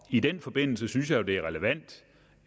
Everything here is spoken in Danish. i den forbindelse synes jeg jo det er relevant